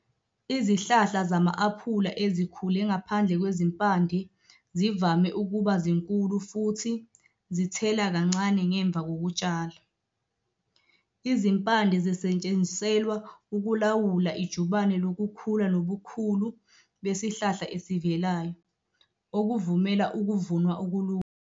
Izihlahla zama-aphula ezikhule ngaphandle kwezimpande zivame ukuba zinkulu futhi zithela kancane ngemva kokutshala. Izimpande zisetshenziselwa ukulawula ijubane lokukhula nobukhulu besihlahla esivelayo, okuvumela ukuvunwa okulula.